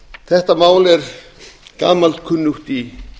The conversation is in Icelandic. þetta mál er gamalkunnugt í